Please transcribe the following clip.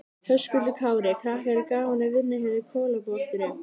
Höskuldur Kári: Krakkar, er gaman að vinna hérna í Kolaportinu?